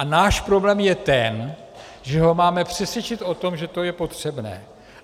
A náš problém je ten, že ho máme přesvědčit o tom, že to je potřebné.